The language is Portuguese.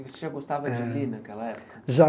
E você já gostava eh de ler naquela época? Já